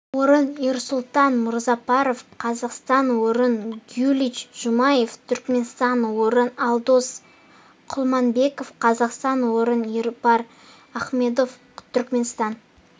орын эрсултан музапаров қазақстан орын гюлич жумаев түркменстан орын алдос кулманбетов қазақстан орын ербар ахмамедов түркменстан